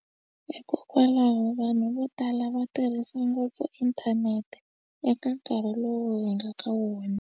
Hikokwalaho vanhu vo tala va tirhisa ngopfu inthanete eka nkarhi lowu hi nga ka wona.